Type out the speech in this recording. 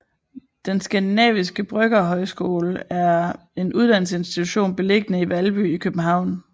Den Skandinaviske Bryggerhøjskole er en uddannelsesinstitution beliggende i Valby i København